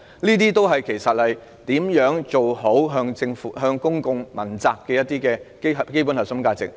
此事關乎如何好好落實向公眾問責的基本核心價值。